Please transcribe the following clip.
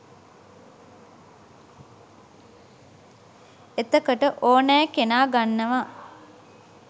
එතකොට ඕනැ කෙනා ගන්නවා